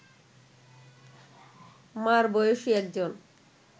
মা’র বয়সী একজন